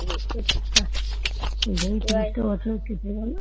এভাবেই ত্রিশ টা বছর কেটে গেল